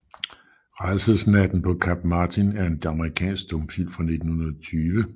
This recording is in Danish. Rædselsnatten paa Kap Martin er en amerikansk stumfilm fra 1920 af J